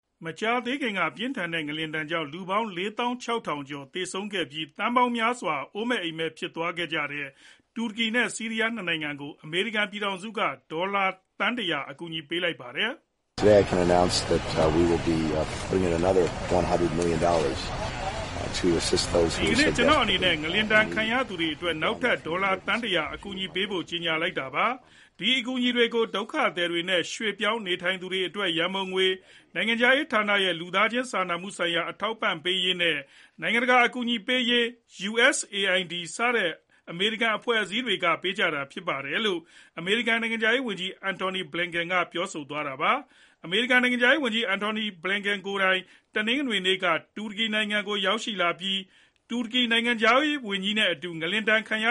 မကြာသေးခင်က ပြင်းထန်တဲ့ငလျင်ဒဏ်ကြောင့် လူပေါင်း ၄၆,၀၀၀ ကျော်သေဆုံးခဲ့ပြီး သန်းပေါင်းများစွာ အိုးမဲ့အိမ်မဲ့ဖြစ်သွားကြတဲ့ တူရကီနဲ့ဆီးရီးယား ၂ နိုင်ငံကို အမေရိကန် ပြည်ထောင်စုက နောက်ထပ် ဒေါ်လာသန်း ၁၀၀ အကူအညီပေးလိုက်ပါတယ်။ “ဒီကနေ့ ကျနော့်အနေနဲ့ ငလျင်ဒဏ်ခံရသူတွေအတွက် နောက်ထပ် ဒေါ်လာသန်းတရာ အကူအညီပေးဖို့ ကြေညာလိုက်ပါတယ်။ အဲဒီအကူအညီတွေကို ဒုက္ခသည်တွေနဲ့ ရွှေ့ပြောင်းနေထိုင်သူတွေအတွက် ရန်ပုံငွေ၊ နိုင်ငံခြားရေးဌာနရဲ့လူသားချင်းစာနာမှုဆိုင်ရာ အထောက်အပံ့ပေးရေးနဲ့ နိုင်ငံတကာအကူအညီပေးရေး USAID စတဲ့ အမေရိကန် အဖွဲ့အစည်းတွေက ပေးကြမှာဖြစ်ပါတယ်။” လို့ အမေရိကန် နိုင်ငံခြားရေးဝန်ကြီး Antony Blinken က ပြောသွားတာပါ။ အမေရိကန်နိုင်ငံခြားရေးဝန်ကြီး Antony Blinken ကိုယ်တိုင် တနင်္ဂနွေနေ့က တူရကီနိုင်ငံကိုရောက်ရှိပြီး တူရကီနိုင်ငံခြားရေးဝန်ကြီး Mevlut Cavusonglu နဲ့အတူ ငလျင်ဒဏ်ခံရ